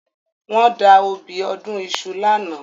Wọ́n da obì ọdún iṣu lánàá